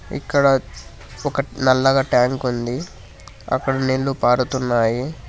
ఇక్కడ ఒక నల్లగా ట్యాంక్ ఉంది అక్కడ నీళ్లు పారుతున్నాయి.